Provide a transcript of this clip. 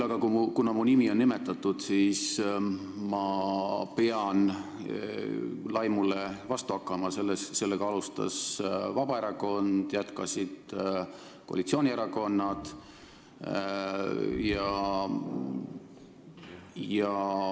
Aga kuna mu nime nimetati, siis ma pean vastu hakkama laimule, millega alustas Vabaerakond ja jätkasid koalitsioonierakonnad.